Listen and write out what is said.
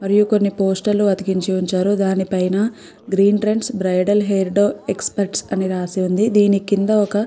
మరియు కొన్ని పోస్టర్ లు అతికించి ఉంచారు దాని పైన green trends bridal hair experts అని రాసి ఉంది దీని కింద ఒక --